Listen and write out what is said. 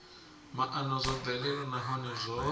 maana zwo bvelela nahone zwo